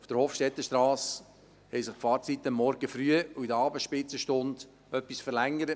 Auf der Hofstettenstrasse haben sich die Fahrzeiten am Morgen früh und in den Abendspitzenstunden etwas verlängert.